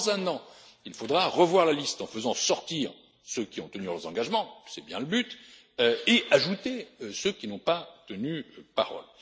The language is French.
sont tenus. Dans un an, il faudra revoir la liste en faisant sortir ceux qui ont tenu leurs engagements c'est bien le but et ajouter ceux qui n'ont pas